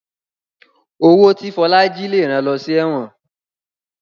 Owó tí Fola jí lẹ rán ló sí èwòn